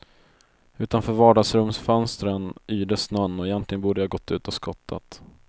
Utanför vardagsrumsfönstren yrde snön och egentligen borde jag gått ut och skottat.